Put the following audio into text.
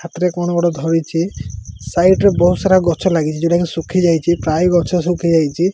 ହାତରେ କଣ ଗୋଟେ ଧରିଛି ସାଇଡ୍ ରେ ବହୁତ୍ ସାରା ଗଛ ଲାଗିଛି ଯୋଉଟାକି ଶୁଖି ଯାଇଛି ପ୍ରାୟ ଗଛ ଶୁଖି ଯାଇଛି।